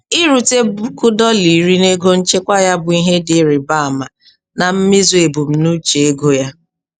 Irute puku dọla iri na ego nchekwa ya bụ ihe dị ịrị ba ama na mmezu ebumnuche ego ya.